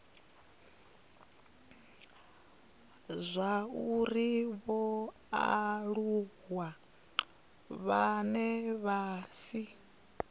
zwauri vhaaluwa vhane vha si